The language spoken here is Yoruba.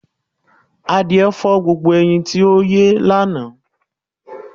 Àdìẹ́ fọ̀ gbogbo ẹyin tí o yín lána.